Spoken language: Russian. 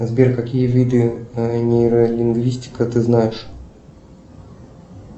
сбер какие виды нейролингвистика ты знаешь